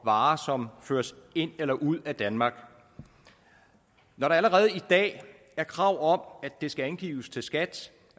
varer som føres ind i eller ud af danmark når der allerede i dag er krav om at det skal angives til skat